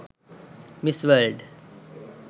miss world